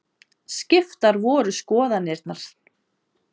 Skiptar voru skoðanirnar.